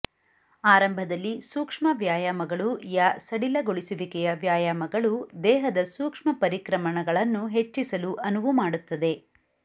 ಆರಂಭದಲ್ಲಿ ಸೂಕ್ಷ ್ಮ ವ್ಯಾಯಾಮಗಳು ಯಾ ಸಡಿಲಗೊಳಿಸುವಿಕೆಯ ವ್ಯಾಯಾಮಗಳು ದೇಹದ ಸೂಕ್ಷ ್ಮ ಪರಿಕ್ರಮಣಗಳನ್ನು ಹೆಚ್ಚಿಸಲು ಅನುವು ಮಾಡುತ್ತದೆ